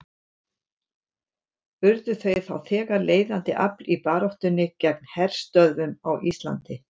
Urðu þau þá þegar leiðandi afl í baráttunni gegn herstöðvum á Íslandi.